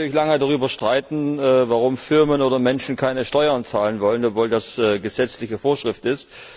Man kann natürlich lange darüber streiten, warum Firmen oder Menschen keine Steuern zahlen wollen, obwohl das gesetzliche Vorschrift ist.